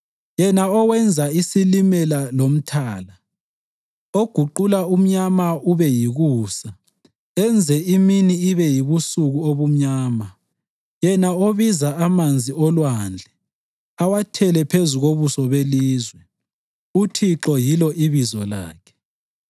Yena owenza iSilimela loMthala, oguqula umnyama ube yikusa enze imini ibe yibusuku obumnyama, yena obiza amanzi olwandle, awathele phezu kobuso belizwe, uThixo yilo ibizo lakhe,